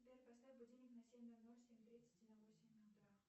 сбер поставь будильник на семь ноль ноль семь тридцать и на восемь утра